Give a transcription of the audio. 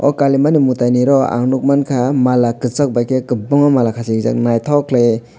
o kali maa ni mwtai ni oro ang nuk mankha mala kwchak bai khe kwbangma mala khasijak naithok khwlaiwui.